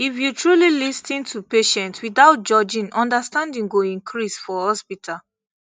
if you truly lis ten to patients without judgment understanding go increase for hospital